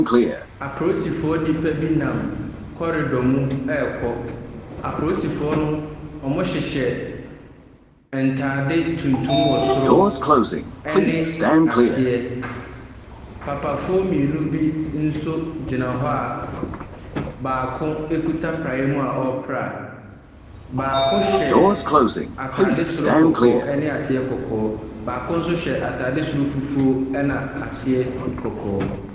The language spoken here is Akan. Aporisifoɔ nnipa bi nam corridor mu ɛrokɔ. Aporisfoɔ no, wɔhyehyɛ ntaare tuntumwɔ soro ɛne aseɛ. Papafoɔ mmienu nso agyina hɔ a baako akuta praeɛ mu a ɔrepra. Baako hyɛ atare soro kɔkɔɔ ɛne aseɛ kɔkɔɔ. Baako so hyɛ ataare soro fufu na ase kɔkɔɔ.